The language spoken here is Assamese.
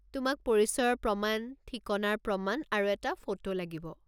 তোমাক পৰিচয়ৰ প্ৰমাণ, ঠিকনাৰ প্ৰমাণ, আৰু এটা ফটো লাগিব।